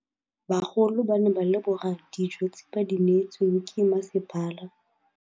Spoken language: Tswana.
Bagolo ba ne ba leboga dijô tse ba do neêtswe ke masepala.